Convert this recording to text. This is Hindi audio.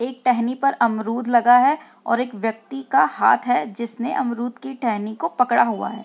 एक टहनी पर अमरुद लगा है और एक व्यक्ति का हाथ है जिसने अमरुद की टहनी को पकड़ा हुआ है ।